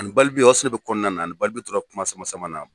Ani Balbi, o ya sɔrɔ ne bɛ kɔnɔna na, ani balibi tora kuma sama sama na.